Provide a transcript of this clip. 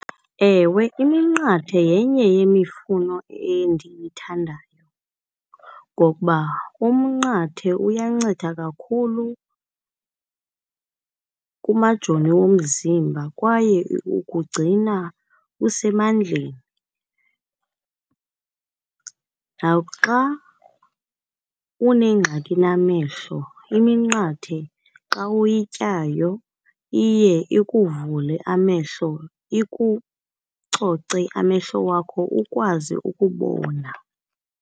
Ewe, iminqathe yenye yemifuno endiyithandayo, ngokuba umnqathe uyanceda kakhulu kumajoni womzimba kwaye ukugcina usemandleni. Naxa unengxaki namehlo iminqathe xa uyityayo iye ikuvule amehlo, ikucoce amehlo wakho ukwazi ukubona.